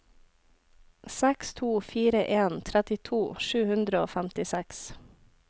seks to fire en trettito sju hundre og femtiseks